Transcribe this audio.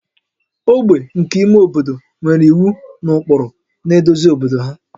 ogbe nke ime obodo nwere iwu na ụkpụrụ na-eduzi obodo ha